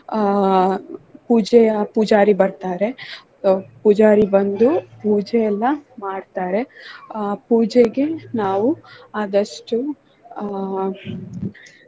ಆಹ್ ಪೊಜೆಯ ಪೂಜಾರಿ ಬರ್ತಾರೆ ಆಹ್ ಪೂಜಾರಿ ಬಂದು ಪೂಜೆ ಎಲ್ಲಾ ಮಾಡ್ತಾರೆ. ಆಹ್ ಪೂಜೆಗೆ ನಾವು ಆದಷ್ಟು ಆಹ್